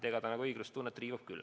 See riivab õiglustunnet küll.